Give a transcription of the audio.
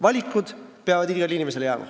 Valikud peavad igale inimesele jääma.